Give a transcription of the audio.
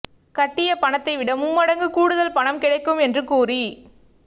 கட்டிய பணத்தை விட மும்மடங்கு கூடுதல் பணம் கிடைக்கும் என்று கூறி